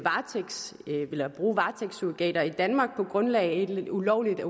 bruge varetægtssurrogater i danmark på grundlag af et ulovligt